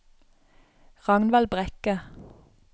Ragnvald Brekke